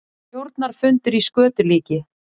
Stjórnarfundur í skötulíki